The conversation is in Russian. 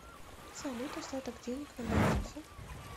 салют остаток денег на балансе